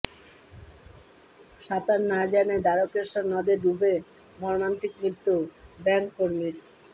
সাতাঁর না জানায় দ্বারকেশ্বর নদে ডুবে মর্মান্তিক মৃত্যু ব্যাংক কর্মীর